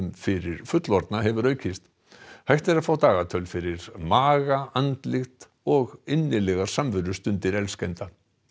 fyrir fullorðna hefur aukist hægt er að fá dagatöl fyrir maga andlit og innilegar samverustundir elskenda